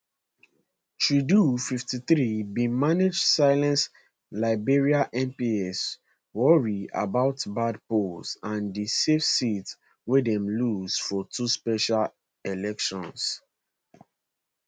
trudeau 53 bin manage silence liberal mps worry about bad polls and di safe seats wey dem lose for two special elections